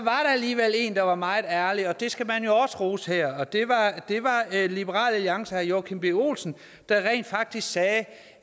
alligevel en der var meget ærlig og det skal man jo også rose her og det var liberal alliances herre joachim b olsen der rent faktisk sagde